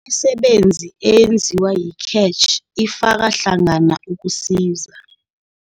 Imisebenzi eyenziwa yi-CACH Ifaka Hlangana ukusiza